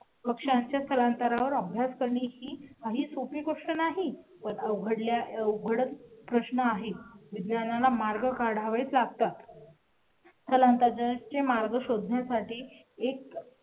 पक्ष्यांच्या स्थलांतरा वर आपण ही काही सोपी गोष्ट नाही, पण अवघडल्या उघडत नाही. विज्ञाना ला मार्ग काढावेत लागतात. पर्यंत जाण्या साठी मार्ग शोधण्या साठी एक